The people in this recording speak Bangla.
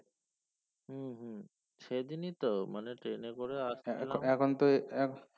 হম হম সেইদিনই তো মানে train এ করে আসছিলাম